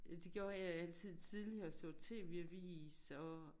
Det gjorde jeg altid tidligere så tv avis og